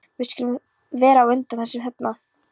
Við skulum vera á undan þessum þarna.